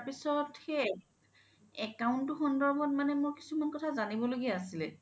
তাৰপিছ্ত সেই account সন্ধৰ্বত মানে মোৰ কিছোমান কথা জানিব লগিয়া আছিলে